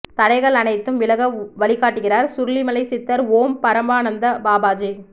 தடைகள் அனைத்தும் விலக வழிகாட்டுகிறார் சுருளிமலை சித்தர் ஓம் பரமானந்த பாபாஜி